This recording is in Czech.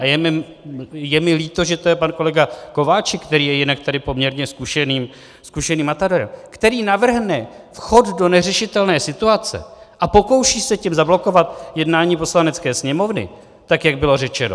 A je mi líto, že to je pan kolega Kováčik, který je jinak tady poměrně zkušeným matadorem, který navrhne vchod do neřešitelné situace a pokouší se tím zablokovat jednání Poslanecké sněmovny, tak jak bylo řečeno.